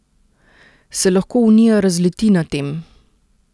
Se lahko Unija razleti na tem?